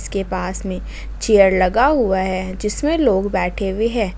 के पास में चेयर लगा हुआ है जिसमें लोग बैठे हुए हैं।